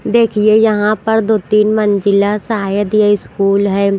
देखिए यहाँ पर दो तीन मंजिला शायद ये स्कूल है।